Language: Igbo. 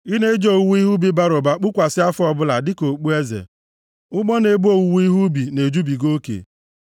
Ị na-eji owuwe ihe ubi bara ụba kpukwasị afọ ọbụla dịka okpueze, ụgbọ na-ebu ihe owuwe ubi na-ejubiga oke.